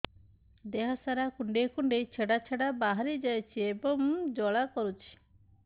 ଦେହ ସାରା କୁଣ୍ଡେଇ କୁଣ୍ଡେଇ ଛେଡ଼ା ଛେଡ଼ା ବାହାରି ଯାଉଛି ଏବଂ ଜ୍ୱାଳା କରୁଛି